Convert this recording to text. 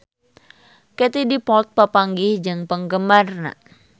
Katie Dippold papanggih jeung penggemarna